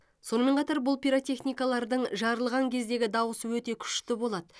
сонымен қатар бұл пиротехникалардың жарылған кездегі дауысы өте күшті болады